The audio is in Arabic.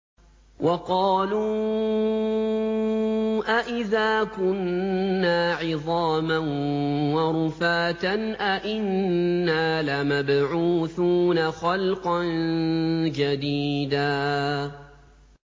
وَقَالُوا أَإِذَا كُنَّا عِظَامًا وَرُفَاتًا أَإِنَّا لَمَبْعُوثُونَ خَلْقًا جَدِيدًا